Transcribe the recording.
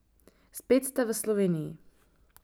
Spet ste v Sloveniji.